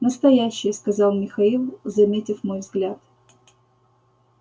настоящие сказал михаил заметив мой взгляд